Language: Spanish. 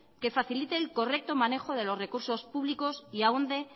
que facilite el correcto manejo de los recursos públicos y ahonde